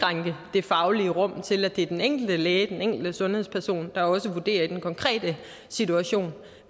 det faglige rum til at det er den enkelte læge den enkelte sundhedsperson der også vurderer i den konkrete situation